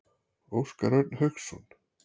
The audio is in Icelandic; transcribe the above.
Óskar Örn Hauksson.